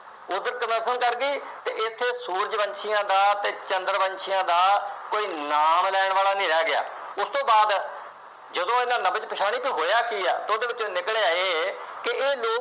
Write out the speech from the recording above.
ਬੁੱਧ prefer ਕਰ ਗਈ ਅਤੇ ਇੱਥੇ ਸੂਰਜ-ਵੰਸ਼ੀਆਂ ਦਾ ਅਤੇ ਚੰਦਰ-ਵੰਸ਼ੀਆਂ ਦਾ ਕੋਈ ਨਾਮ ਲੈਣ ਵਾਲਾ ਨਹੀਂ ਰਹਿ ਗਿਆ। ਉਸ ਤੋਂ ਬਾਅਦ ਜਦੋਂ ਇਹਨਾ ਨਬਜ਼ ਪਛਾਣੀ ਤਾਂ ਹੋਇਆਂ ਕੀ ਹੈ। ਉਹਦੇ ਵਿੱਚੋਂ ਨਿਕਲਿਆ ਇਹ ਕਿ ਇਹ ਲੋਕ